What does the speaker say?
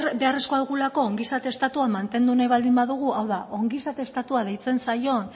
behar beharrezkoa dugulako ongizate estatua mantendu nahi baldin badugu hau da ongizate estatua deitzen zaion